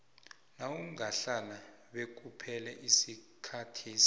nawungahlala bekuphele isikhathesi